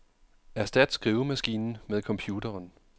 Erstat skrivemaskinen med computeren.